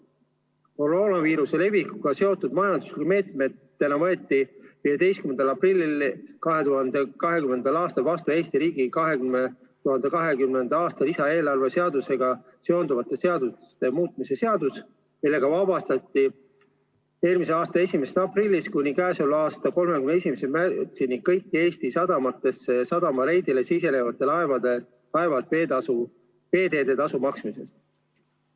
Koroonaviiruse levikuga seotud majanduslike meetmetena võeti 15. aprillil 2020. aastal vastu Eesti riigi 2020. aasta lisaeelarve seadusega seonduvate seaduste muutmise seadus, millega vabastati eelmise aasta 1. aprillist kuni selle aasta 31. märtsini kõik Eesti sadamatesse ja sadamareidile sisenevad laevad veeteede tasu maksmisest.